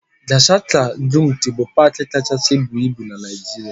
Gashaka-Gumti bụ paaki kachasị buo ibu na Naịjirịa.